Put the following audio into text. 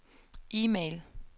e-mail